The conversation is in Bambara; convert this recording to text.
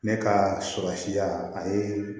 Ne ka surun siya a ye